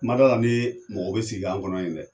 N ma dala ni mɔgɔ be sigi k'an kɔnɔ yen dɛ